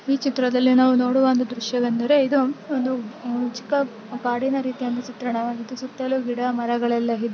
ಈ ಚಿತ್ರದಲ್ಲಿ ನಾವು ನೋಡುವ ಒಂದು ದೃಶ್ಯ ವೆಂದರೆ ಇದು ಒಂದು ಚಿಕ್ಕ ಕಾಡಿನ ರೀತಿಯ ಚಿತ್ರನ ವಾಗಿದ್ದು ಸುತ್ತಲೂ ಗಿಡ ಮರ ಗಲ್ಲೆಲಾ ಇ--